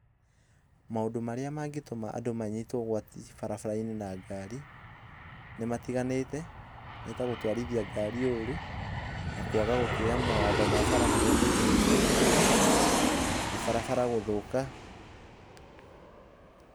Maũndũ marĩa mangĩtũma andũ manyitwo ũgwati barabara-inĩ na ngari, nĩ matiganĩte, nĩ ta gũtwarithia ngari ooru, na kwaga gũtĩa mawatho ma bara marĩa maigĩtwo, na barabara gũthũka.